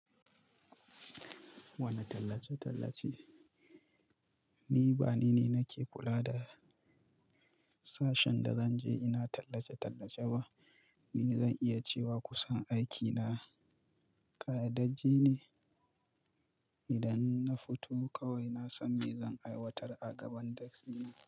Wani tallace-tallace, ni ba ni ne nake kula da sashen da zan je ina tallace-tallace ba. Ni zan iya cewa kusan aikina ƙayyadajje ne. Idan na fito kawai na san me zan aiwatar a gaban desk ina.